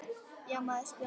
Já, maður spyr sig?